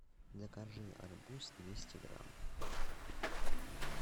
закажи арбуз двести грамм